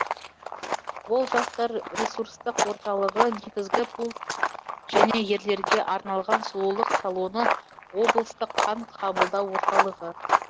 ол жастар ресурстық орталығы негізгі пункт және ерлерге арналған сұлулық салоны облыстық қан қабылдау орталығы